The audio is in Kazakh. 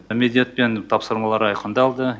міндет пен тапсырмалар айқындалды